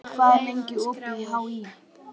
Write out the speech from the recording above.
Oktavíus, hvað er lengi opið í HÍ?